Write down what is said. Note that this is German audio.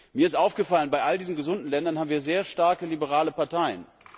Mir ist aufgefallen, bei allen diesen gesunden Ländern haben wir starke liberale Parteien.